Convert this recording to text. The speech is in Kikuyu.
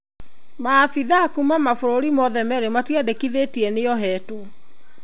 Maabithaa kuma mabũrũri mothe merĩ matiandĩkithĩtie nĩohetwo.